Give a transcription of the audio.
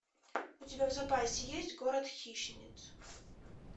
у тебя в запасе есть город хищниц